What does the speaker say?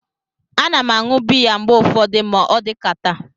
A na m aṅu bịya mgbe ụfọdụ ma odikata